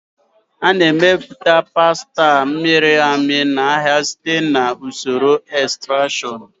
A na-emepụta pasta a mịrị amị n'ahịa site na usoro extrusion.